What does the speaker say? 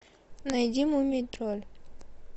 найди мумий тролль